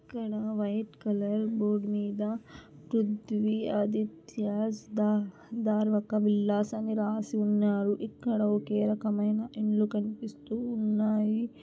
ఇక్కడ white colour board మీద పృథ్వీ ఆదిత్యస్ దా - దార్ ఒక విల్లాస్ అని రాసి ఉన్నారు. ఇక్కడ ఒకే రకమైన ఇన్లు కనిపిస్తూ ఉన్నాయి .